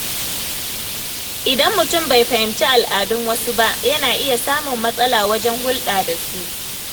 Idan mutum bai fahimci al’adun wasu ba, yana iya samun matsala wajen hulɗa da su.